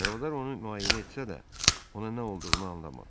Çarvadar onu müayinə etsə də, ona nə olduğunu anlamadı.